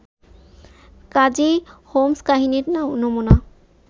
কাজেই হোমস্-কাহিনীর নমুনা